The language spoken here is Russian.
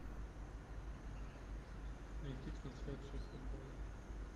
найти трансляцию футбола